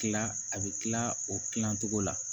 Kila a bɛ tila o kilan togo la